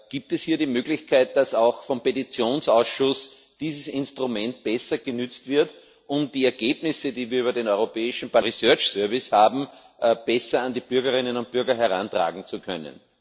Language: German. Gibt es hier die Möglichkeit, dass auch vom Petitionsausschuss dieses Instrument besser genutzt wird, um die Ergebnisse, die wir über den Research Service des Europäischen Parlaments haben, besser an die Bürgerinnen und Bürger herantragen zu können?